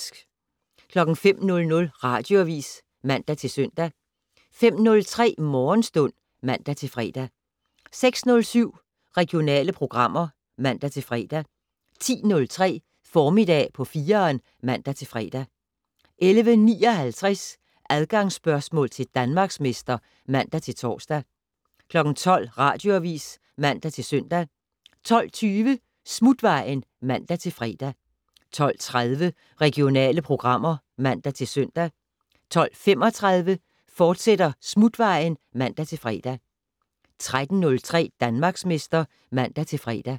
05:00: Radioavis (man-søn) 05:03: Morgenstund (man-fre) 06:07: Regionale programmer (man-fre) 10:03: Formiddag på 4'eren (man-fre) 11:59: Adgangsspørgsmål til Danmarksmester (man-tor) 12:00: Radioavis (man-søn) 12:20: Smutvejen (man-fre) 12:30: Regionale programmer (man-søn) 12:35: Smutvejen, fortsat (man-fre) 13:03: Danmarksmester (man-fre)